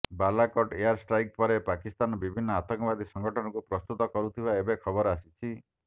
Balakot airstrike ପରେ ପାକିସ୍ତାନର ବିଭିନ୍ନ ଆତଙ୍କବାଦୀ ସଙ୍ଗଠନକୁ ପ୍ରସ୍ତୁତ କରୁଥିବା ଏବେ ଖବର ଆସିଛି